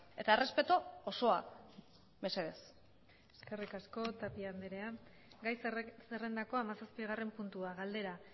eta errespetu osoa mesedez eskerrik asko tapia andrea gai zerrendako hamazazpigarren puntua galdera